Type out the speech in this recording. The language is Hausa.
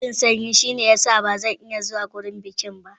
Ina jin sanyi, shine ya sa ba zan iya zuwa wurin bukin ba.